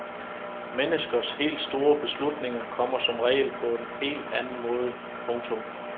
Menneskers helt store beslutninger kommer som regel på en helt anden måde. punktum